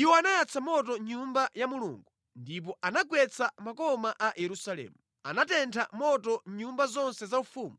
Iwo anayatsa moto Nyumba ya Mulungu, ndipo anagwetsa makoma a Yerusalemu. Anatentha moto nyumba zonse zaufumu